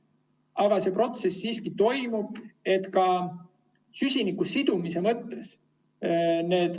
Aga see protsess siiski toimub ka süsiniku sidumise mõttes.